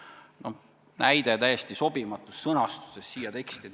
See on näide täiesti sobimatu sõnastuse kohta siin tekstis.